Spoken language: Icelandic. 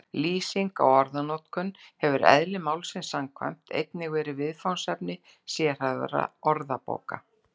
Lýsing á orðanotkun hefur eðli málsins samkvæmt einnig verið viðfangsefni sérhæfðra orðabóka.